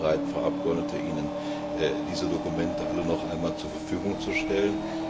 Ich bin gerne bereit, Frau Abgeordnete, Ihnen diese Dokumente alle noch einmal zur Verfügung zu stellen.